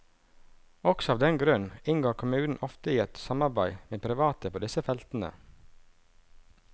Også av den grunn inngår kommunene ofte i et samarbeide med private på disse feltene.